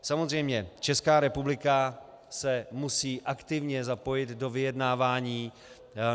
Samozřejmě, Česká republika se musí aktivně zapojit do vyjednávání.